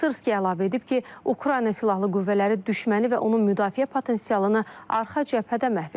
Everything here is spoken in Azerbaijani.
Sırski əlavə edib ki, Ukrayna Silahlı Qüvvələri düşməni və onun müdafiə potensialını arxa cəbhədə məhv edir.